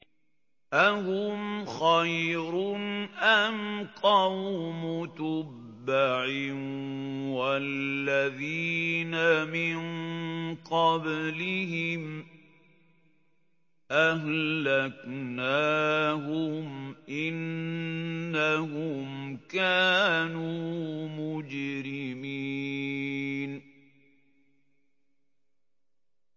أَهُمْ خَيْرٌ أَمْ قَوْمُ تُبَّعٍ وَالَّذِينَ مِن قَبْلِهِمْ ۚ أَهْلَكْنَاهُمْ ۖ إِنَّهُمْ كَانُوا مُجْرِمِينَ